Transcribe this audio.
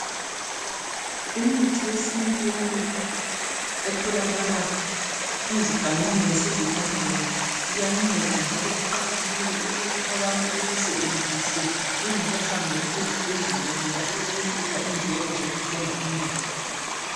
Imithi yesintu yonke etholakala ezigangeni lasezivandeni iyanceda. Njalo kuqakathekile ukuthi abantu beyisebenzise bengakahambeli ezibhedlela ngoba iyayehlisa indleko zokuthenga imithi .